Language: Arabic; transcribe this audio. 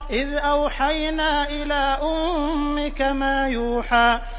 إِذْ أَوْحَيْنَا إِلَىٰ أُمِّكَ مَا يُوحَىٰ